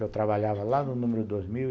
Eu trabalhava lá no número dois mil